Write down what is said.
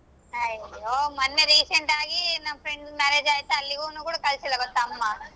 ಮನ್ನೆ recent ಆಗಿ ನಮ್ friend marriage ಆಯ್ತು ಅಲ್ಲಿಗೂನು ಕೂಡಾ ಕಳಸಿಲ್ಲಾ ಗೊತ್ತಾ ಅಮ್ಮಾ.